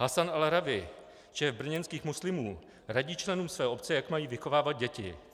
Hassan Alrawi, šéf brněnských muslimů, radí členům své obce, jak mají vychovávat děti.